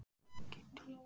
Kiddý